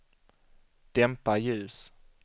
dämpa ljus